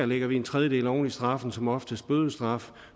lægger vi en tredjedel oven i straffen som oftest bødestraf